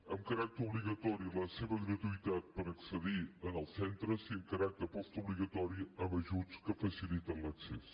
amb caràcter obligatori la seva gratuïtat per accedir als centres i amb caràcter postobligatori amb ajuts que faciliten l’accés